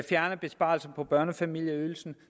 fjerne besparelserne på børnefamilieydelsen